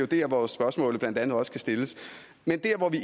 der hvor spørgsmålet blandt andet også kan stilles men der hvor vi